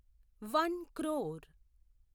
one crore